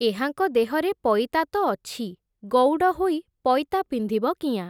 ଏହାଙ୍କ ଦେହରେ ପଇତା ତ ଅଛି, ଗଉଡ଼ ହୋଇ ପଇତା ପିନ୍ଧିବ କିଆଁ ।